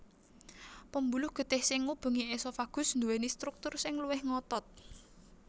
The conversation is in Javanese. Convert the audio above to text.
Pembuluh getih sing ngubengi esophagus nduwèni struktur sing luwih ngotot